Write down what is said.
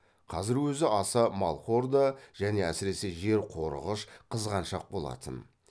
қазір өзі аса малқор да және әсіресе жер қорығыш қызғаншақ болатын